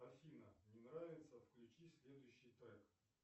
афина не нравится включи следующий трек